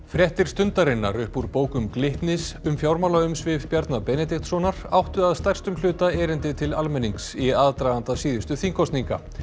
Fréttir Stundarinnar upp úr bókum Glitnis um fjármálaumsvif Bjarna Benediktssonar áttu að stærstum hluta erindi til almennings í aðdraganda síðustu þingkosninga